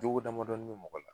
Jogo damadɔni bɛ mɔgɔ la